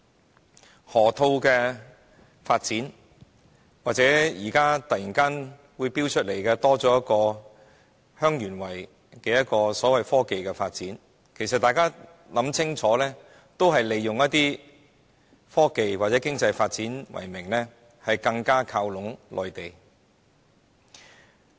無論是河套發展或忽然提出的香園圍創科發展計劃，大家只要細心想清楚，便可發現都是以科技或經濟發展為名，更加靠攏內地。